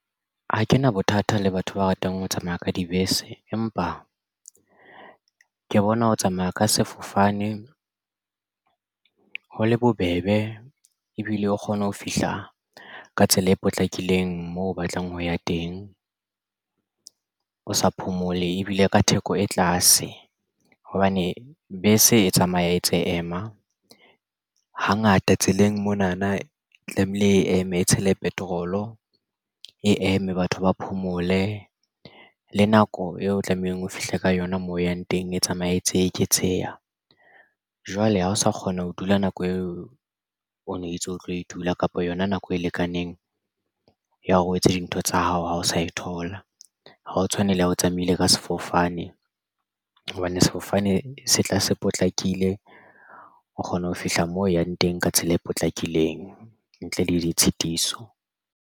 Ha ke na bothata le batho ba ratang ho tsamaya ka dibese empa ke bona ho tsamaya ka sefofane ho le bobebe ebile o kgona ho fihla ka tsela e potlakileng moo o batlang ho ya teng o sa phomole ebile ka theko e tlase hobane bese e tsamaya e tse ema hangata tseleng monana e tlamehile e eme e tshele petrol o e eme batho ba phomole le nako eo tlamehang o fihle ka yona moo o yang teng. E tsamaye e ntse e eketseha jwale ha o sa kgona ho dula nako eo o no ntso o tlo e dula kapa yona nako e lekaneng ya hore o etse dintho tsa hao ha o sa e thola. Ha o tshwane le ya o tsamaile ka sefofane hobane sefofane se tla se potlakile o kgona ho fihla moo o yang teng ka tsela e potlakileng ntle le ditshitiso.